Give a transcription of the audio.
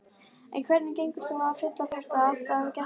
En hvernig gengur svo að fylla þetta allt af gestum?